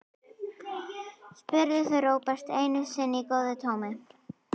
spurðu þau Róbert einu sinni í góðu tómi.